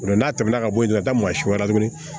O la n'a tɛmɛna ka bɔ yen ka taa maasi wɛrɛ la tuguni